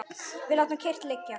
Við látum kyrrt liggja